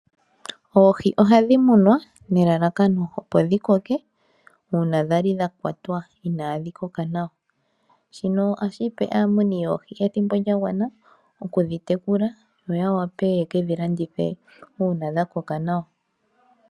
Oohi ohadhi munwa nelalakano opo dhi koke uuna dhali dhakwatwa iinadhi koka nawa shino ohashi peni aamuni yoohi ethimbo lyaagwana ikudhi tekulu noya wape oye ke dhilandithe uuna dhakoko nawa.